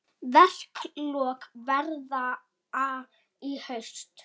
Verklok verða í haust.